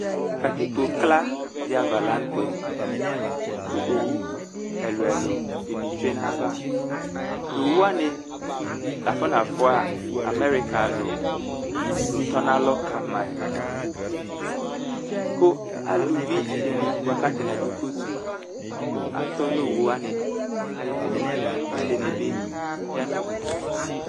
katikpo kla diava la ntɛ kũ owũ ɛlũ ɛlũ dini tsué na yava towu wani l'afɔ nafua améruka lũ du tɔnalɔ kamae kũ alũvi dini bua k'atani adũ kotʉ atɔ nũ owũ wani ayɛtu k'ɛdini bi ya nudũ